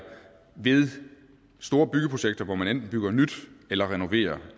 ved store byggeprojekter hvor man enten bygger nyt eller renoverer